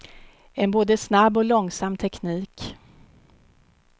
En både snabb och långsam teknik.